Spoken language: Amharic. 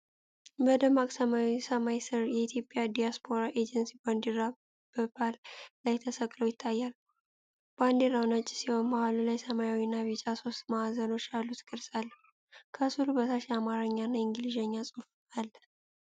በደማቅ ሰማያዊ ሰማይ ስር፣ የኢትዮጵያ ዲያስፖራ ኤጀንሲ ባንዲራ በፖል ላይ ተሰቅሎ ይታያል። ባንዲራው ነጭ ሲሆን፣ መሃሉ ላይ ሰማያዊና ቢጫ ሦስት ማዕዘኖች ያሉት ቅርጽ አለው። ከሥዕሉ በታች የአማርኛና የእንግሊዝኛ ጽሑፍ አለ።